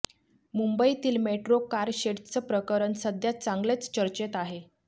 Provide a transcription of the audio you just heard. मुंबईतील मेट्रो कारशेडचं प्रकरण सध्या चांगलेच चर्चेत आहे